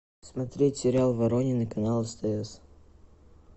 смотреть сериал воронины канал стс